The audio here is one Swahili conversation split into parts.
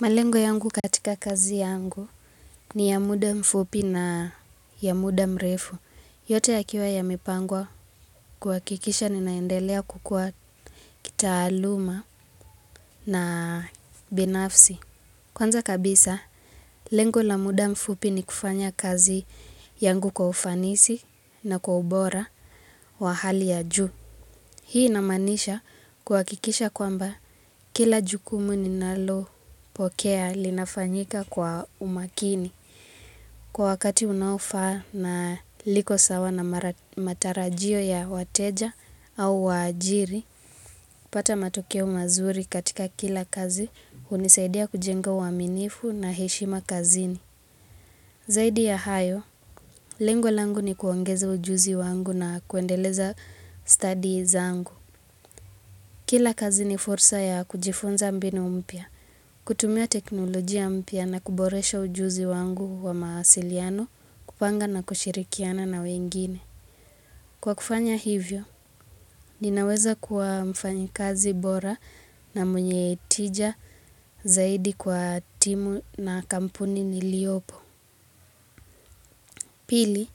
Malengo yangu katika kazi yangu ni ya muda mfupi na ya muda mrefu. Yote yakiwa yamepangwa kuhakikisha ninaendelea kukua kitaaluma na binafsi. Kwanza kabisa, lengo la muda mfupi ni kufanya kazi yangu kwa ufanisi na kwa ubora wa hali ya juu. Hii inamaanisha kuhakikisha kwamba kila jukumu ninalopokea linafanyika kwa umakini. Kwa wakati unaofaa na liko sawa na matarajio ya wateja au waajiri, pata matokeo mazuri katika kila kazi, hunisaidia kujenga uaminifu na heshima kazini. Zaidi ya hayo, lengo langu ni kuongeza ujuzi wangu na kuendeleza stadi zangu. Kila kazi ni fursa ya kujifunza mbinu mpya, kutumia teknolojia mpya na kuboresha ujuzi wangu wa mawasiliano, kupanga na kushirikiana na wengine. Kwa kufanya hivyo, ninaweza kuwa mfanyikazi bora na mwenye tija zaidi kwa timu na kampuni niliopo. Pili,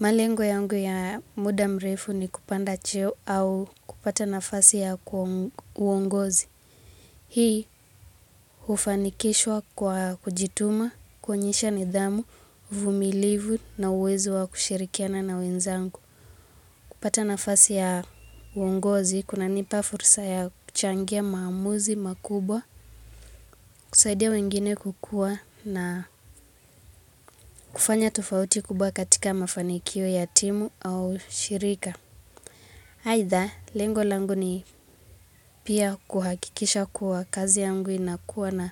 malengo yangu ya muda mrefu ni kupanda cheo au kupata nafasi ya uongozi. Hii hufanikishwa kwa kujituma, kuonyesha nidhamu, uvumilivu na uwezo wa kushirikiana na wenzangu. Kupata nafasi ya uongozi, kunanipa fursa ya kuchangia maamuzi, makubwa, kusaidia wengine kukuwa na kufanya tofauti kubwa katika mafanikio ya timu au shirika. Aidha, lengo langu ni pia kuhakikisha kuwa kazi yangu inakuwa na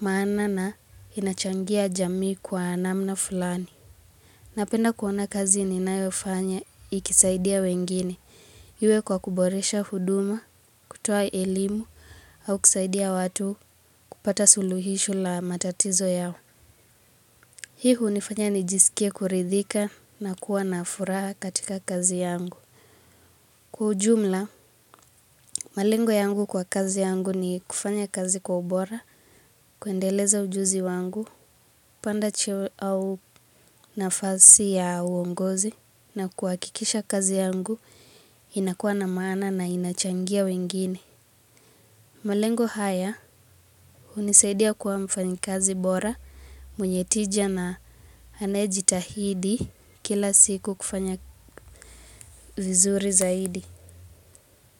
maana na inachangia jamii kwa namna fulani. Napenda kuona kazi ninayofanya ikisaidia wengine. Iwe kwa kuboresha huduma, kutoa elimu, au kusaidia watu kupata suluhisho la matatizo yao. Hii hunifanya nijisikie kuridhika na kuwa na furaha katika kazi yangu. Kwa ujumla, malengo yangu kwa kazi yangu ni kufanya kazi kwa ubora, kuendeleza ujuzi wangu, panda cheo au nafasi ya uongozi, na kuhakikisha kazi yangu, inakuwa na maana na inachangia wengine. Malengo haya, unisaidia kuwa mfanyi kazi bora, mwenye tija na anayejitahidi kila siku kufanya vizuri zaidi.